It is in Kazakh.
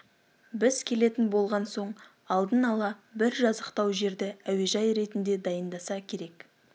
біз келетін болған соң алдын ала бір жазықтау жерді әуежай ретінде дайындаса керек